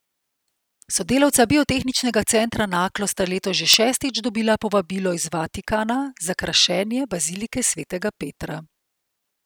Sodelavca Biotehniškega centra Naklo sta letos že šestič dobila povabilo iz Vatikana za krašenje bazilike svetega Petra.